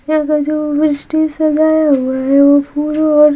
यहाँ का जो ओवर स्टेज लगाया हुआ है वो पूरा--